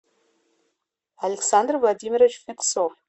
александр владимирович фетцов